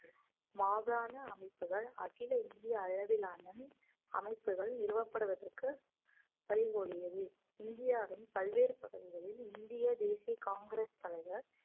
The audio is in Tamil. மாகாண அமைப்புகள் அகில இந்திய அளவிலான அமைப்புகள் நிறுவப்படுவதற்கு பரிகோடியது இந்தியாவின் பல்வேறு பகுதிகளில் இந்திய தேசிய காங்கிரஸ் தலைவர்